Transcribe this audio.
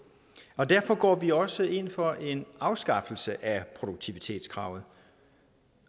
og derfor går vi også ind for en afskaffelse af produktivitetskravet